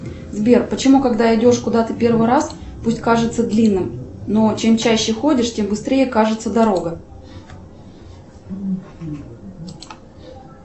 сбер почему когда идешь куда то первый раз путь кажется длинным но чем чаще ходишь тем быстрее кажется дорога